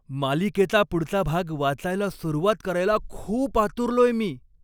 मालिकेचा पुढचा भाग वाचायला सुरुवात करायला खूप आतुरलोय मी!